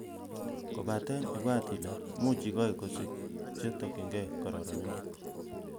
Kobaten, ibwat ele muche igoi kosik che tokyinigei kororonindo.